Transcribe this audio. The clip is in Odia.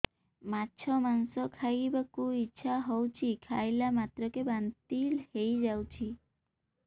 ମାଛ ମାଂସ ଖାଇ ବାକୁ ଇଚ୍ଛା ହଉଛି ଖାଇଲା ମାତ୍ରକେ ବାନ୍ତି ହେଇଯାଉଛି